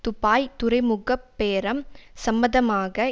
Dubai துறைமுக பேரம் சம்பந்தமாக